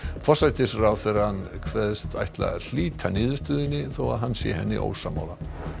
forsætisráðherra kveðst ætla að hlíta niðurstöðunni þó að hann sé henni ósammála